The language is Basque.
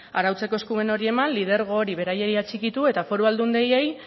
arautzeko eskumen hori eman lidergo hori beraiei atxikitu eta foru aldundiei